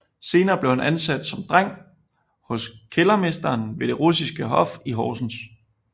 Senere blev han ansat som dreng hos kældermesteren ved det russiske hof i Horsens